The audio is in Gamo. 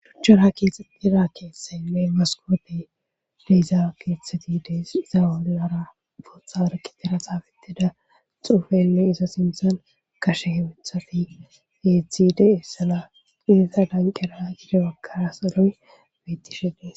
Shuchchara keetteira keeththaynne maskopey deiza keeththeti dees iza wollara bootha warkitera xaafeteda xuufeynne iza sinthan kashe hewethafi geeththi de essana qinisa danqeraa gidebakkara salon beyttishedees.